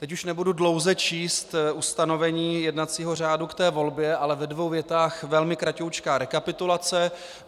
Teď už nebudu dlouze číst ustanovení jednacího řádu k té volbě, ale ve dvou větách velmi kraťoučká rekapitulace.